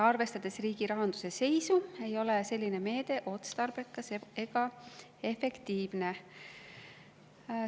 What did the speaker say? Arvestades riigirahanduse seisu ei ole selline meede otstarbekas ega efektiivne.